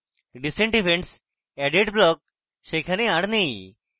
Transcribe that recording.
recent events added block সেখানে আর now